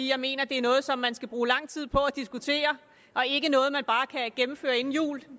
jeg mener at det er noget som man skal bruge lang tid på at diskutere og ikke noget man bare kan gennemføre inden jul